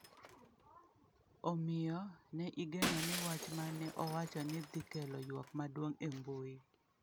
Omiyo, ne igeno ni wach ma ne owacho ne dhi kelo ywak maduong’ e mbui.